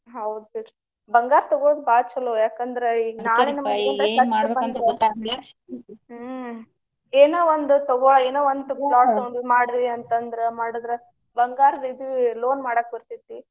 ಹೌದ ಬಿಡ್ರಿ ಬಂಗಾರ ತಗೋದ ಬಾಳ ಚಲೊ ಯಾಕ ಅಂದ್ರೆ ಈಗ ನಾಳೆ ನಮಗ ಏನ್ರ ಕಷ್ಟ ಬಂದ್ರ ಹ್ಮ ಏನೊ ಒಂದು ತಗೊಳೋ ಏನೊ ಒಂದ ಮಾಡಿದ್ವಿ ಅಂತ ಅಂದ್ರ ಮಾಡಿದ್ರ ಬಂಗಾರದ ಇದು loan ಮಾಡಾಕ ಬರ್ತೆತಿ.